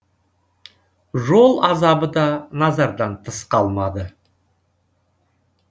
жол азабы да назардан тыс қалмады